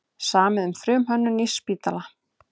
Samið um frumhönnun nýs spítala